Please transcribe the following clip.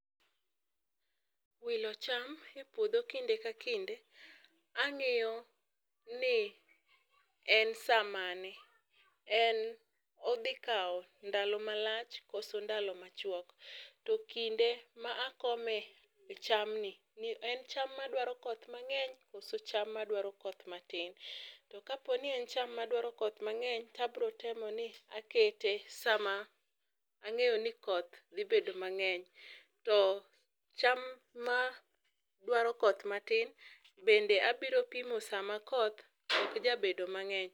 wilo cham e puodho kinde ka kinde. Ang'iyo ni en saa mane ,en odhi kawo ndalo malach koso ndalo machwok. To kinde ma akome e cham ni en cham madwaro koth mang'eny koso cham madwaro koth matin. To kapo ni en cham madwaro koth mang'eny to abro temo ni akete sama ang'eyo ni koth dhi bedo mang'eny to cham madwaro koth matin bende abro pimo sama koth ok jabedo mang'eny.